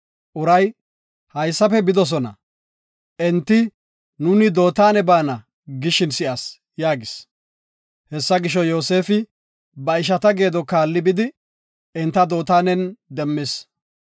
Uray, “Haysafe bidosona; enti, ‘Nuuni Dootane baana’ gishin si7as” yaagis. Hessa gisho, Yoosefi ba ishata geedo kaalli bidi, enta Dootanen demmis.